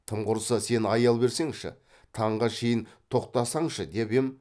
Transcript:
тым құрса сен аял берсеңші таңға шейін тоқтасаңшы деп ем